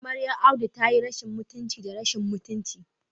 Amaryar Audu tayi rashin mutunci da rashin mutunci